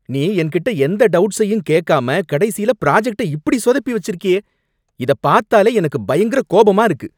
நீ என் கிட்ட எந்த டவுட்ஸயும் கேக்காம கடைசியில ப்ராஜெக்ட்ட இப்படி சொதப்பி வச்சிருக்கியே! இத பார்த்தாலே எனக்கு பயங்கர கோபமா இருக்கு.